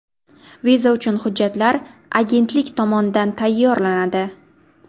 Viza uchun hujjatlar agentlik tomonidan tayyorlanadi.